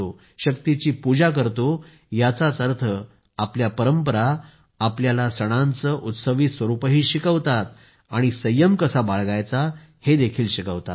शक्तीची पूजा करतो याचाच अर्थ आपल्या परंपरा आपल्याला सणांचे उत्सवी स्वरूपही शिकवतात आणि संयम कसा बाळगायचा हेही शिकवतात